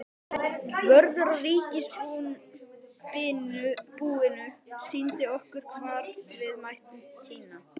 Vörður á ríkisbúinu sýndi okkur hvar við mættum tína.